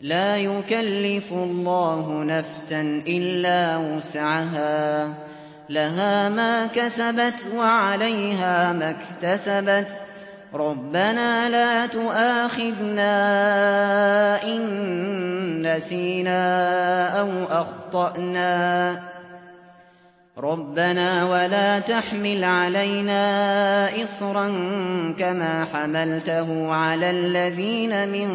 لَا يُكَلِّفُ اللَّهُ نَفْسًا إِلَّا وُسْعَهَا ۚ لَهَا مَا كَسَبَتْ وَعَلَيْهَا مَا اكْتَسَبَتْ ۗ رَبَّنَا لَا تُؤَاخِذْنَا إِن نَّسِينَا أَوْ أَخْطَأْنَا ۚ رَبَّنَا وَلَا تَحْمِلْ عَلَيْنَا إِصْرًا كَمَا حَمَلْتَهُ عَلَى الَّذِينَ مِن